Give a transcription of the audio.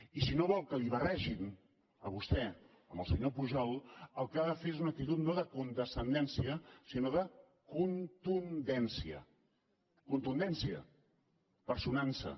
i si no vol que l’hi barregin a vostè amb el senyor pujol el que ha de fer és una actitud no de condescendència sinó de contundència contundència personant s’hi